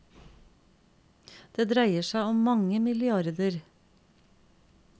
Det dreier seg om mange milliarder.